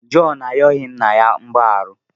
Jọn ayọghị nna ya mgbaghara.